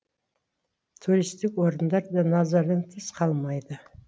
туристік орындар да назардан тыс қалмайды